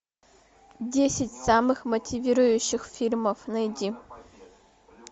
десять самых мотивирующих фильмов найди